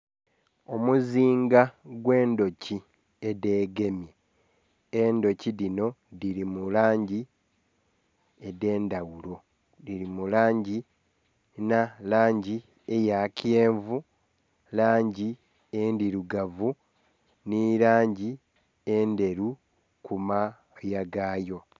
Omuzinga ogwe ndhuki edhegemye, endhuki dhinho dhili mulangi edhe ndhaghulo, dhili mulangi nga langi eya kyenvu, langi endhilugavu nhi langi endhelu ku moya gayo.